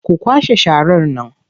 Ku kwashe sharar nan!